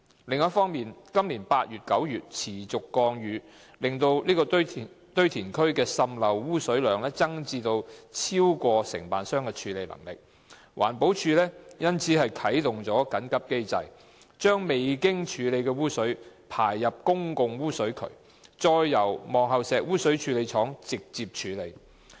另一方面，今年8月及9月持續降雨令該堆填區滲濾污水量增至超過承辦商的處理能力，環保署因而啟動緊急機制，將未經處理的污水排入公共污水渠，再由望后石污水處理廠直接處理。